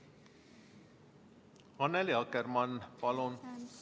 Annely Akkermann, palun!